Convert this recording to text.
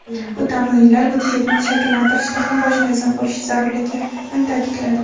bu tamoyillar budjetni shakllantirishda ham bosh mezon bo‘lishi zarurligini ta’kidladi.